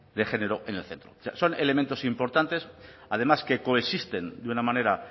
de género en el centro son elementos importantes además que coexisten de una manera